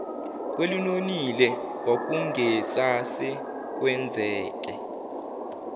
kwelinonile kwakungase kwenzeke